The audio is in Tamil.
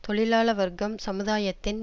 தொழிலாள வர்க்கம் சமுதாயத்தின்